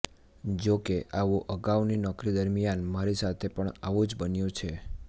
જો કે આવું અગાઉની નોકરી દરમિયાન મારી સાથે પણ આવું જ બન્યું છે